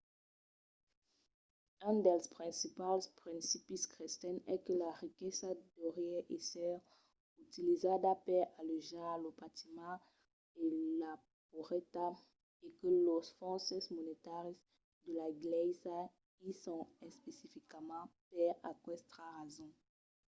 un dels principals principis crestians es que la riquesa deuriá èsser utilizada per aleujar lo patiment e la pauretat e que los fonses monetaris de la glèisa i son especificament per aquesta rason